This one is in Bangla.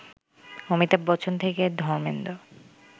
অমিতাভ বচ্চন থেকে ধর্মেন্দ্র